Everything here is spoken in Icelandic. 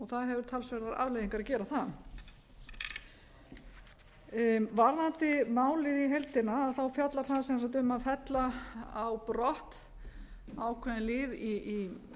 það hefur talsverðar afleiðingar að gera það varðandi málið í heildina þá fjallar það sem sagt um að fella a brott ákveðinn lið í